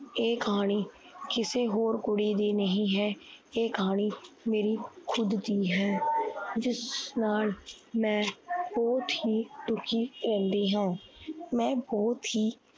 ਇਹ ਕਹਾਣੀ ਕਿਸੇ ਹੋਰ ਕੁੜੀ ਦੀ ਨਹੀਂ ਹੈ। ਇਹ ਕਹਾਣੀ ਮੇਰੀ ਖੁਦ ਦੀ ਹੈ। ਜਿਸ ਨਾਲ ਮੈ ਬਹੁਤ ਹੀ ਦੁਖੀ ਹੁੰਦੀ ਹਾਂ l ਮੈ ਬਹੁਤ ਹੀ